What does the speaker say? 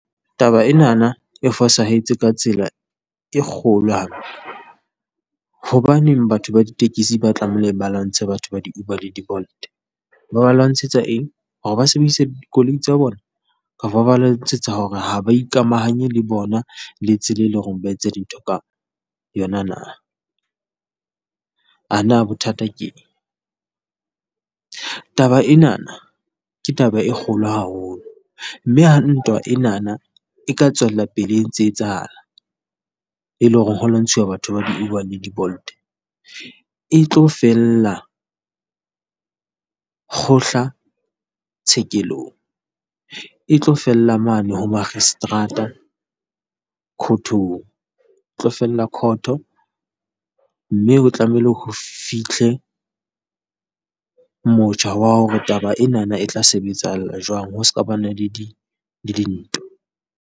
Taba enana e fosahetse ka tsela e kgolo . Hobaneng batho ba ditekesi ba tlameileng ba lwantshe batho ba di-Uber le di-Bolt? Ba ba lwantshetsa eng? Hore ba sebedise dikoloi tsa bona? Kapa ba lwantshetsa hore ha ba ikamahanye le bona le tsela e leng hore ba etsa dintho ka yona na? A na bothata ke eng? Taba enana ke taba e kgolo haholo, mme ha ntwa enana e ka tswella pele e ntse etsahala, e le hore kgona ho lwantshuwa batho ba di-Uber le di-Bolt, e tlo fella kgohla tshekelong. E tlo fella mane ho moakgiseterata khothong, tlo fella khotho. Mme ho tlamehile ho fitlhe motjha wa hore taba enana e tla sebetsahala jwang ho ska ba na le di le dintwa.